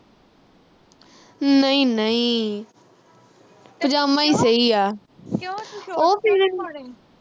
ਨਈਂ-ਨਈਂ ਪਜ਼ਾਮਾ ਹੀ ਸਹੀ ਆ। ਉਹ ਫਿਰ